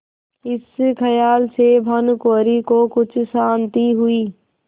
इस खयाल से भानुकुँवरि को कुछ शान्ति हुई